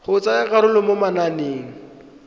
go tsaya karolo mo mananeng